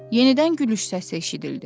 Yenidən gülüş səsi eşidildi.